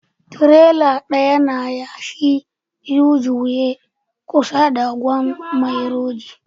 Tirela ɗaya na yashi a U-Juye kusa da Gwan maijoro